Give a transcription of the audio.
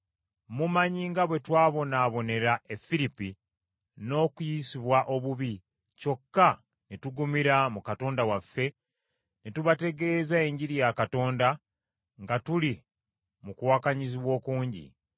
Mumanyi nga bwe twabonaabonera e Firipi, n’okuyisibwa obubi kyokka ne tugumira mu Katonda waffe ne tubategeeza Enjiri ya Katonda nga tuli mu kuwakanyizibwa okungi.